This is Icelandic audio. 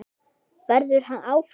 Verður hann áfram?